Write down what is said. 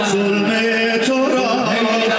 Heydər zülm etdi.